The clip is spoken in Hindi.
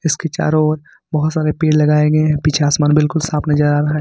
इसके चारों ओर बहुत सारे पेड़ लगाये गए हैं पीछे आसमान बिल्कुल साफ नजर आ रहा है।